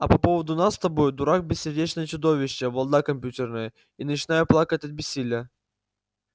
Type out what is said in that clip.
а по поводу нас с тобой дурак бессердечное чудовище балда компьютерная и начинаю плакать от бессилия